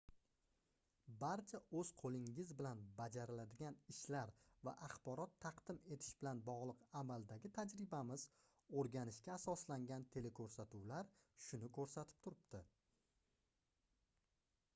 barcha oʻz qoʻlingiz bilan bajariladigan ishlar va axborot taqdim etish bilan bogʻliq amaldagi tajribamiz oʻrganishga asoslangan telekoʻrsatuvlar shuni koʻrsatib turibdi